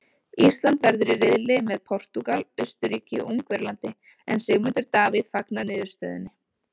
Ísland verður í riðli með Portúgal, Austurríki og Ungverjalandi en Sigmundur Davíð fagnar niðurstöðunni.